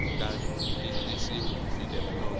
nga tivisiwi ku fikela loko